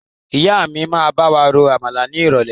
Ìyá mi máa bawa ro Àmàlà ni irọ̀lẹ́.